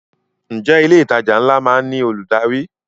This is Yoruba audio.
Ǹjẹ́ ilé ìtajà ńlá má ń ní olùdarí?